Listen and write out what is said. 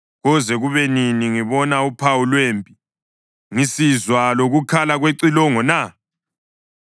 Koze kube nini ngibona uphawu lwempi ngisizwa lokukhala kwecilongo na?